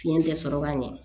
Fiɲɛ tɛ sɔrɔ ka ɲɛ